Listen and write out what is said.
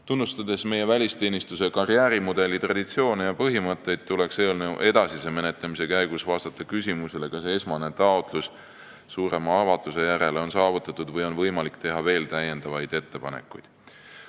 Tunnustades meie välisteenistuse karjäärimudeli traditsioone ja põhimõtteid, tuleks eelnõu edasise menetlemise käigus vastata küsimusele, kas esmane taotlus suurema avatuse järele on saavutatud või on võimalik teha veel ettepanekuid.